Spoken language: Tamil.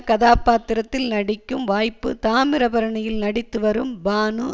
கதாபாத்திரத்தில் நடிக்கும் வாய்ப்பு தாமிரபரணியில் நடித்துவரும் பானு